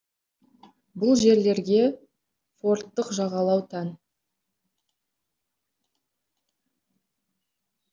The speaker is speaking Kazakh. бұл жерлерге фордттық жағалау тән